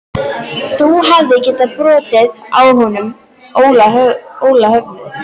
Þú hefðir getað brotið á honum Óla höfuðið.